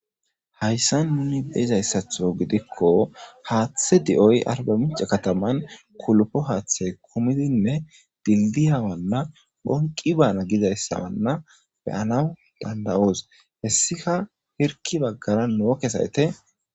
Hayssan nuni beezayssatho gidikko haaththe di7oy arbamica kataman kulpo haaththay kumidinne dildiyawanna bonqi baana gizayssawanna beyana danda7oos hessika hirki baggara nookesayte.